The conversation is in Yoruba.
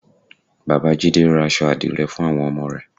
Bàbá jídé ra aṣọ àdìrẹ fún àwọn ọmọ rẹ̀